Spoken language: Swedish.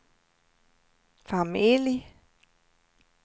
familj